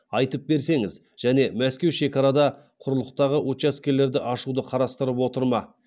айтып берсеңіз және мәскеу шекарада құрлықтағы учаскелерді ашуды қарастырып отыр ма